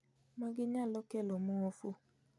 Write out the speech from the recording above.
Magi nyalo kelo muofu